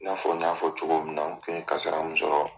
N'a fɔ n y'a fɔ cogo min na , n kun ye kasira mun sɔrɔ